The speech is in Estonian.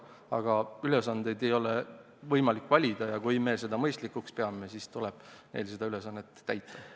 Aga ülesandeid ei ole võimalik valida ja kui me seda mõistlikuks peame, siis tuleb neil seda ülesannet täita.